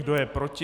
Kdo je proti?